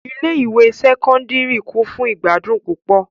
Ile-ẹkọ Sẹkọndiri kun fun igbadun pupọ